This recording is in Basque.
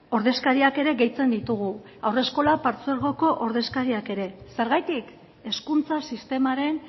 ordezkariak ere gehitzen ditugu haurreskolak partzuergoko ordezkariak ere zergatik hezkuntza sistemaren